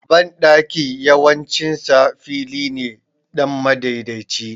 Banɗaki yawancin sa fili ne dan madaidaici